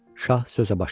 Şah sözə başladı.